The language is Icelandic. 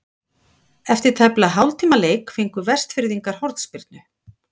Eftir tæplega hálftíma leik fengu Vestfirðingar hornspyrnu.